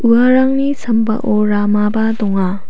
uarangni sambao ramaba donga.